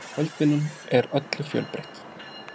Kvöldvinnan er öllu fjölbreytt